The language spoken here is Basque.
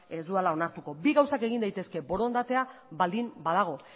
ez dudala onartuko bi gauzak egin daitezke borondatea baldin badago